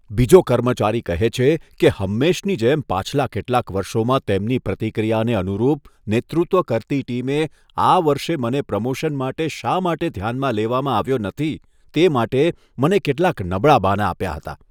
બીજો કર્મચારી કહે છે કે, હંમેશની જેમ પાછલા કેટલાક વર્ષોમાં તેમની પ્રતિક્રિયાને અનુરૂપ, નેતૃત્વ કરતી ટીમે આ વર્ષે મને પ્રમોશન માટે શા માટે ધ્યાનમાં લેવામાં આવ્યો નથી આવ્યો, તે માટે મને કેટલાંક નબળાં બહાનાં આપ્યાં હતાં.